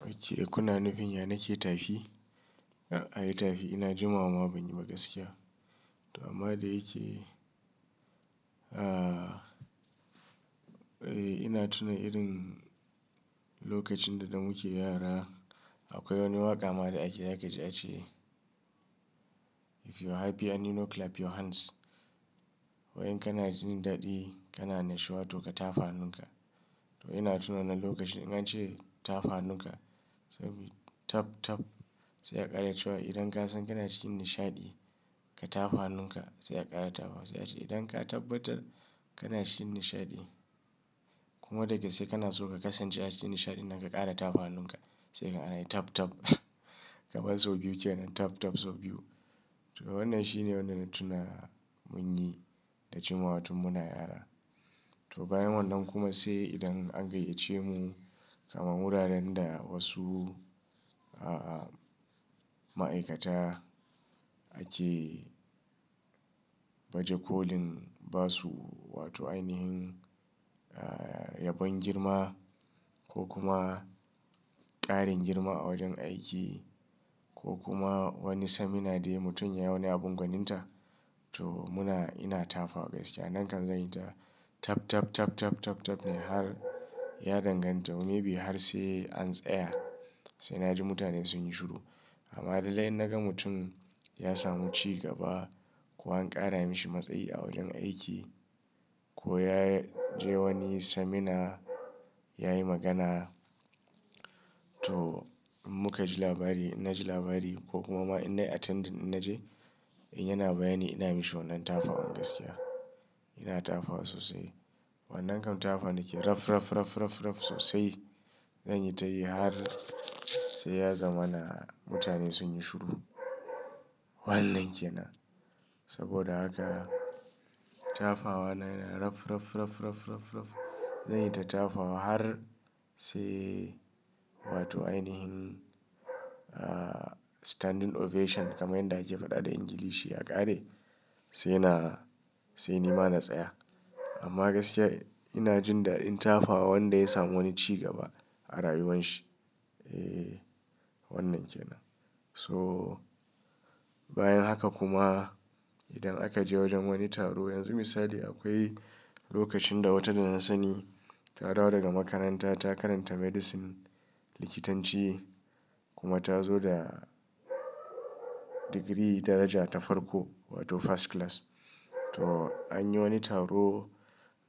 Ok kuna nufin yana ke tafi, ai tafi ina jimawa ma ban yi ba gaskiya. To amma da yake, ah, ina tuna irin lokacin da muke yara akwai wani waƙa ma da ake sai kaji a ce a ce, "If you are happy and you know clap your hands." Wai in kana jin daɗi kana annashiwa to ka tafa hannunka. To ina tuna wananan lokacin in an ce tafa hannunka sai muyi tap tap sai ya ƙara cewa idan ka san kana cikin nishaɗi ka tafa hannunka sai a ƙara tafawa sai a ce idan ka tabbatar kana cikin nishaɗi kuma dagaske kana son ka kasance a cikin nishaɗin nan ka ƙara tafa hannunka sai ka ga anayi tap tap. Kaman sau biyu ke nan tap tap sau biyu. To wannan shine wanda na tuna mun yi da jimawa tun muna yara. To bayan wannan kuma sai idan an gayyace mu kamar wuraren da wasu, ah, ma'aikata ake baje kolin basu wato ainihin, ah, yabon girma ko kuma ƙarin girma a wajen aiki ko kuma wani semina de ya mutum yayi wani abun gwaninta. To muna ina tafa gaskiya. Nan kam zan yi ta tap tap tap tap tap tap ne har ya danganta maybe har sai an tsaya sai na ji mutane sun yi shiru. Amma lallai in naga mutum ya samu cigaba ko an ƙara mashi matsayi a wajen aiki ko ya je wani semina ya yi magana. To in muka ji labari ina ji labari ko kuma ma innai attending in na je in yana bayani ina mishi wannan tafawan gaskiya. Ina tafa wa sosai. Wannan kam tafawa nake raf raf raf raf raf sosai. Zan yi ta yi har sai ya zama na mutane sun yi shiru. Wannan ke nan. Saboda haka tafawa na yana raf raf raf raf raf raf. Zan yi ta tafa har sai wato ainihin, ah, standing ovation kamar yadda ake faɗa da Ingilishi ya ƙare sai na, sai ni ma na tsaya. Amma gaskiya ina jin daɗin tafa wa wanda ya samu wani cigaba a rayuwan shi. Eh wannan ke nan. So bayan haka kuma idan aka je wajen wani taro yanzu misali akwai lokacin da wata da na sani ta dawo daga makaranta ta karanta medicine likitanci kuma ta zo da digiri daraja ta farko wato first class. To an yi wani taro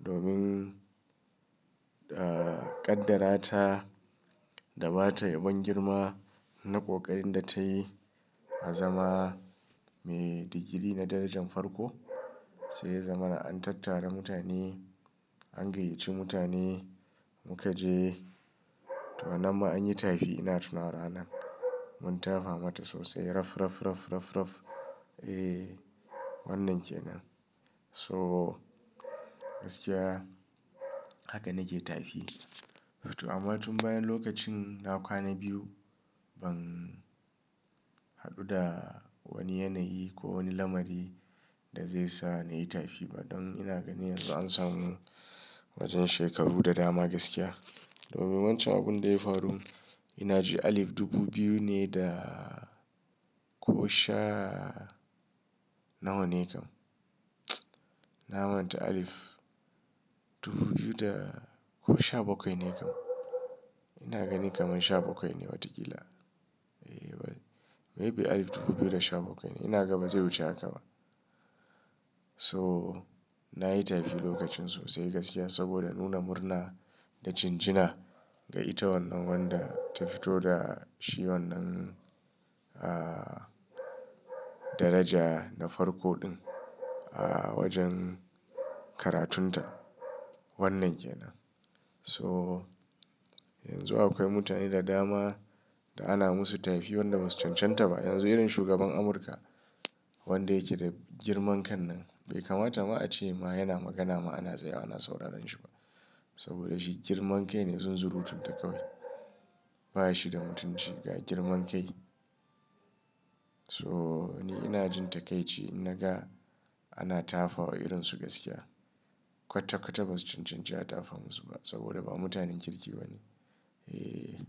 domin, ah, kaddara ta da ba ta yabon girma na ƙoƙarin da tayi a zama mai digiri na darajan farko sai ya zama na an tattara mutane an gayyaci mutane muka je. To nan ma an yi tafi ina tunawa ranan mun tafa mata sosai raf raf raf raf raf. Eh wannan ke nan. So gaskiya haka nake tafi. To amma tun bayan lokacin na kwana biyu ban haɗu da wani yanayi ko wani lamari da zai sa na yi tafi ba don ina gani yanzu an samu wajen shekaru da dama gaskiya. Domin wancan abun da ya faru ina ji alif dubu biyu ne da ko sha nawa ne kam. Na manta alif dubu biyu da ko sha bakwai ne kam. Ina gani kamar sha bakwai ne watakila. Eh maybe alif dubu biyu da sha bakwai ne. Ina gaba zai wuce haka ba. To na yi tafi lokacin sosai gaskiya saboda nuna murna da jinjina ga ita wannan wanda ta fito da shi wannan, ah, daraja na farko ɗin a wajen karatun ta. Wannan ke nan. To yanzu akwai mutane da dama da ana musu tafi wanda ba su cancanta ba. Yanzu irin shugaban Amurka wanda yake da girman kan nan bai kamata ma a ce ma yana magana ma ana tsaya wa ana sauraren shi ma. Saboda shi girman kai ne zunzurutun ta kawai. Ba shi da mutunci ga girman kai. So ni ina jin ta kai ci in naga ana tafa wa irin su gaskiya. Kwatakwata ba su cancanci a tafa musu ba saboda ba mutanen kirki ba ne. Eh.